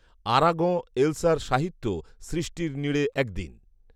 Aragon এলসার সাহিত্য সৃষ্টির নীড়ে একদিন